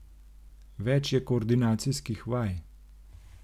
Več je koordinacijskih vaj.